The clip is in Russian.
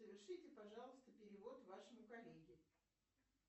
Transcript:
совершите пожалуйста перевод вашему коллеге